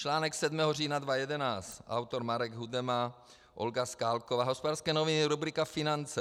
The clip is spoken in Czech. Článek 7. října 2011, autor Marek Hudema, Olga Skalková, Hospodářské noviny, rubrika Finance.